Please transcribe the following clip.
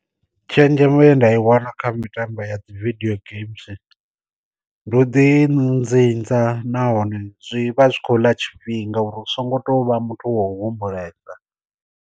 Tshenzhemo ye nda i wana kha mitambo ya dzi vidio games, ndi u ḓi nzinza nahone zwi vha zwi khou ḽa tshifhinga uri hu so ngo tovha muthu wo humbulesa.